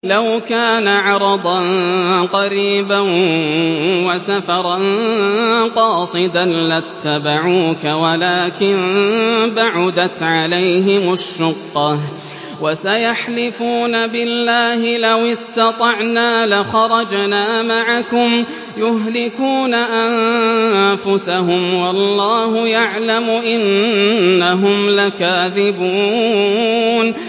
لَوْ كَانَ عَرَضًا قَرِيبًا وَسَفَرًا قَاصِدًا لَّاتَّبَعُوكَ وَلَٰكِن بَعُدَتْ عَلَيْهِمُ الشُّقَّةُ ۚ وَسَيَحْلِفُونَ بِاللَّهِ لَوِ اسْتَطَعْنَا لَخَرَجْنَا مَعَكُمْ يُهْلِكُونَ أَنفُسَهُمْ وَاللَّهُ يَعْلَمُ إِنَّهُمْ لَكَاذِبُونَ